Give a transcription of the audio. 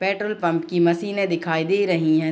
Petrol pump की मशीने दिखाई दे रही हैं।